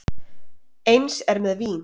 Eins er með vín.